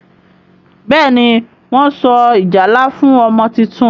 Béèni Wón so ìjálá fún ọmọ títún.